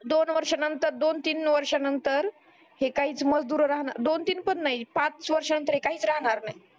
दोन वर्षा नंतर दोन तीन वर्षा नंतर हे काहीच मजदूर राहणार दोन तीन पण नाही पाच वर्षा नंतर हे काहीच राहणार नाही